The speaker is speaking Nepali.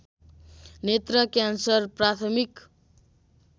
नेत्र क्यान्सर प्राथमिक